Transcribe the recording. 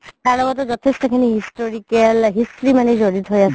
তাৰ লগতও যঠেষ্টখিনি historical history মানে জৰিত হয় আছে